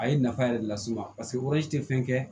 A ye nafa yɛrɛ de las'u ma paseke tɛ fɛn kɛ